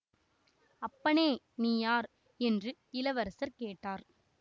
அப்பனே நீ யார் என்று இளவரசர் கேட்டார்